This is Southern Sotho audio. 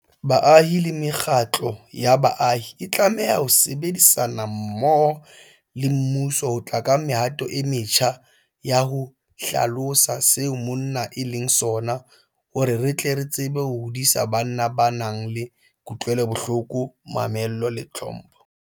Baahi le mekgatlo ya baahi e tlameha ho sebedisana mmoho le mmuso ho tla ka mehato e metjha ya ho hlalosa seo monna e leng sona hore re tle re tsebe ho hodisa banna ba nang le kutlwelobohloko, mamello le tlhompho.